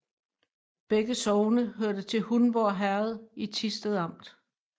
Begge sogne hørte til Hundborg Herred i Thisted Amt